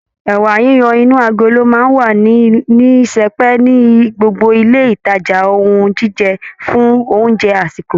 Ẹ̀wà yiyan inú agolo máa ń wà ní sẹpẹ́ ní gbogbo ilé ìtajà ohun jíjẹ fún oúnjẹ àsìkò